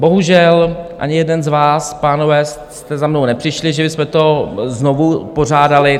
Bohužel ani jeden z vás, pánové, jste za mnou nepřišli, že bychom to znovu pořádali.